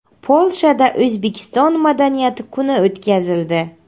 Polshada O‘zbekiston madaniyati kuni o‘tkazildi.